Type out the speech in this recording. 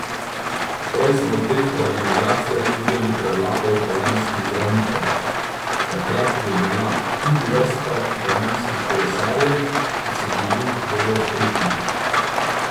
Prej smo v teh organizacijah videli prevlado italijanskih zdravnikov, takrat je bila tudi vrsta italijanskih kolesarjev, ki so bili zelo uspešni.